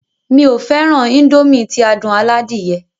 Èmi ó fẹràn Índòmí ti adùn aládìyẹ.